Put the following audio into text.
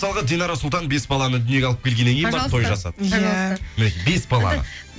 мысалға динара сұлтан бес баланы дүниеге алып келгеннен кейін барып той жасады пожалуйста мінекей бес баланы